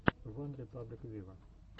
ван репаблик виво